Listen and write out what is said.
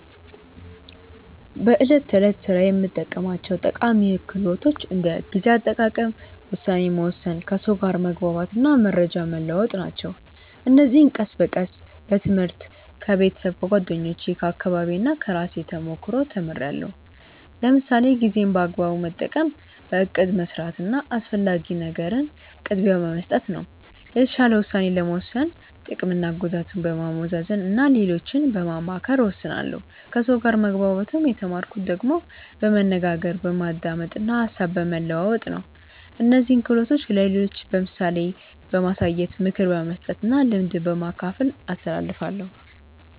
በዕለት ተዕለት ሥራዬ የምጠቀማቸው ጠቃሚ ክህሎቶች እንደ ጊዜ አጠቃቀም፣ ውሳኔ መወሰን፣ ከሰው ጋር መግባባት እና መረጃ መለዋወጥ ናቸው። እነዚህን ቀስ በቀስ በትምህርት፣ ከቤተሰብ፣ ከጓደኞቼ፣ ከአካባቢዬ እና ከራሴ ተሞክሮ ተምርያለሁ። ለምሳሌ ጊዜን በአግባቡ መጠቀም በእቅድ መስራት እና አስፈላጊ ነገርን ቅድሚያ በመስጠት ነው። የተሻለ ውሳኔ ለመወሰን ጥቅምና ጉዳትን በማመዛዘን እና ሌሎችን በማማከር እወስናለሁ ከሰው ጋር መግባባት የተማርኩት ደግሞ በመነጋገር፣ በማዳመጥ እና ሀሳብ በመለዋወጥ ነው። እነዚህን ክህሎቶች ለሌሎች በምሳሌ በማሳየት፣ ምክር በመስጠት እና ልምድ በማካፈል አስተላልፋለሁ።